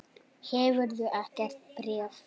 Hefurðu ekkert bréf?